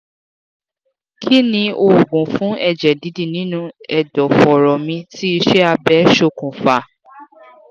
kí ni oògùn fun eje didi nínú ẹ̀dọ̀ foro mi tí ise abe sokun fa?